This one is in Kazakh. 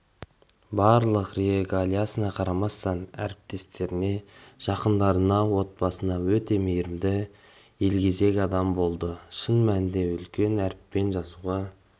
барлық регалиясына қарамастан әріптестеріне жақындарына отбасына өте мейірімді елгезек адам болды шын мәнінде үлкен әріппен жазуға